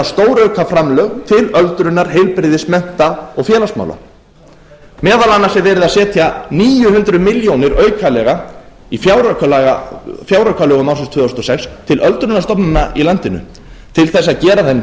stórauka framlög til öldrunar heilbrigðis mennta og félagsmála meðal annars er verið að setja níu hundruð milljónir aukalega í fjáraukalögum árin tvö þúsund og sex til öldrunarstofnana í landinu til þess að gera þeim kleift